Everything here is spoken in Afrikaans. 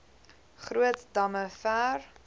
groot damme ver